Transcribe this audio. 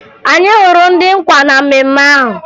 Anyị hụrụ ndị nkwa na mmemme ahụ